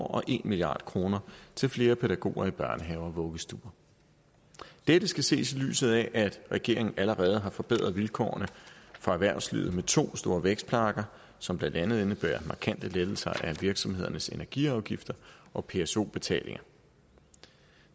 år og en milliard kroner til flere pædagoger i børnehaver og vuggestuer dette skal ses i lyset af at regeringen allerede har forbedret vilkårene for erhvervslivet med to store vækstpakker som blandt andet indebærer markante lettelser af virksomhedernes energiafgifter og pso betalinger